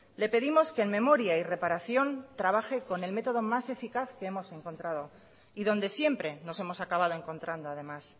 le pedimos que en memoria y reparación trabaje con el método más eficaz que hemos encontrado y donde siempre nos hemos acabado encontrando además